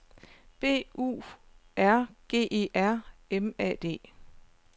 B U R G E R M A D